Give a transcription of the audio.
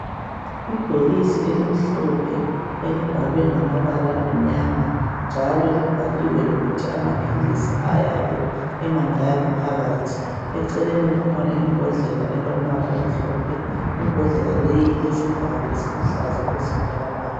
Ibhokisi elimhlophe elibhalwe ngamabala amnyama njalo libhaliwe lokuthi amaphilisi ayabe emangaki phakathi eceleni kukhona imbodlela elombala omhlophe imbodlela leyi ilesivalo esiluhlaza okwesibhakabhaka .